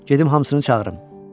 Gedim hamısını çağırım.